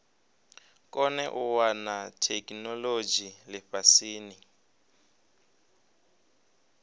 kone u wana theikinolodzhi lifhasini